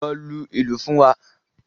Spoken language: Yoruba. Lọ lu ìlù fún wa.